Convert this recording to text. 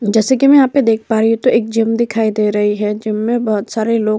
जैसे की मैं यहाँ पे देख पा रही हूँ तो एक जिम दिखाई दे रही है जिम में बहोत सारे लोग --